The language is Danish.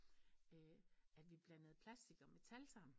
At vi blandede plastik og metal sammen